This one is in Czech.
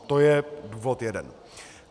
To je důvod jeden.